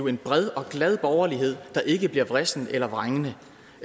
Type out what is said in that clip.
en bred og glad borgerlighed der ikke bliver vrissen eller vrængende